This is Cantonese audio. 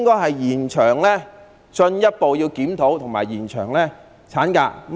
第二，我們應該進一步檢討和延長產假。